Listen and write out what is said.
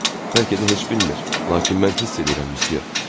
Bəlkə də heç bilmir, lakin mən hiss eləyirəm Missiya.